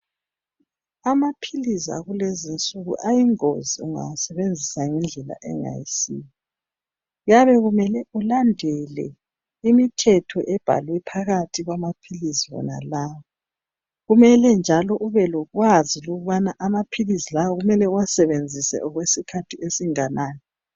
Amaphilisi akulezinsuku ayingozi ungawasebenzisa ngendlela engayisiyo. Kuyabe kumele ulandele imithetho ebhalwe phakathi kwamaphilisi wonalawo. Kumele njalo ubelokwazi ukubana amaphilisi lawa kumele uwasebenzise okwesikhathi esinganani.